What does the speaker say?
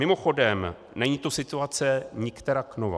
Mimochodem, není to situace nikterak nová.